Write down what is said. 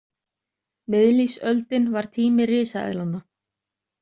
Miðlífsöldin var tími risaeðlanna.